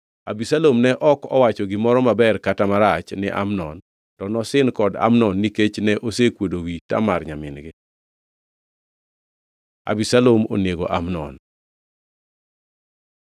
Abisalom ne ok owacho gimoro maber kata marach ni Amnon; to nosin kod Amnon nikech ne osekuodo wi Tamar nyamin-gi. Abisalom onego Amnon